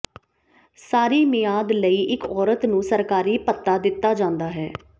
ਸਾਰੀ ਮਿਆਦ ਲਈ ਇਕ ਔਰਤ ਨੂੰ ਸਰਕਾਰੀ ਭੱਤਾ ਦਿੱਤਾ ਜਾਂਦਾ ਹੈ